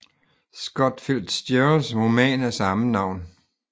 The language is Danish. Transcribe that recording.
Scott Fitzgeralds roman af samme navn